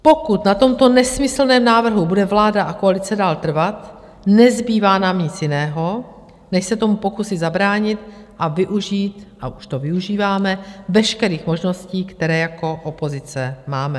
Pokud na tomto nesmyslném návrhu bude vláda a koalice dále trvat, nezbývá nám nic jiného, než se tomu pokusit zabránit a využít - a už to využíváme - veškerých možností, které jako opozice máme.